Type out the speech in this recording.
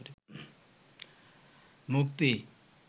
মুক্তি